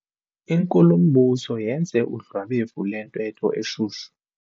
Inkulumbuso yenze udlwabevu lwentetho eshushu.